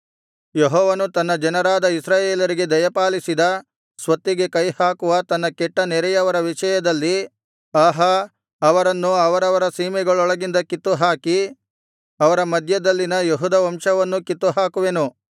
ಯೆಹೋವನು ತನ್ನ ಜನರಾದ ಇಸ್ರಾಯೇಲರಿಗೆ ದಯಪಾಲಿಸಿದ ಸ್ವತ್ತಿಗೆ ಕೈಹಾಕುವ ತನ್ನ ಕೆಟ್ಟ ನೆರೆಯವರ ವಿಷಯದಲ್ಲಿ ಆಹಾ ಅವರನ್ನು ಅವರವರ ಸೀಮೆಗಳೊಳಗಿಂದ ಕಿತ್ತುಹಾಕಿ ಅವರ ಮಧ್ಯದಲ್ಲಿನ ಯೆಹೂದ ವಂಶವನ್ನೂ ಕಿತ್ತುಹಾಕುವೆನು